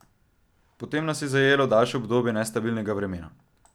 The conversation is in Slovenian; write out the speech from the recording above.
Potem nas je zajelo daljše obdobje nestabilnega vremena.